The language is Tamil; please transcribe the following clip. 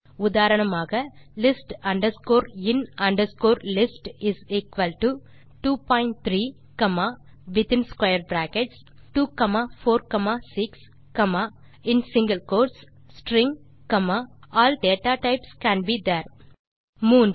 உதாரணமாக list in list23246stringall data types C A N be there 3